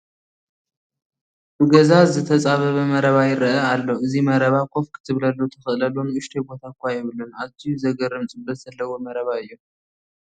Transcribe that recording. ብገዛ ዝተፃበበ መረባ ይርአ ኣሎ፡፡ እዚ መረባ ኮፍ ክትብለሉ ትኽእለሉ ንኡሽተይ ቦታ እዃ የብሉን፡፡ ኣዝዩ ዘግርም ፅበት ዘለዎ መረባ እዩ፡፡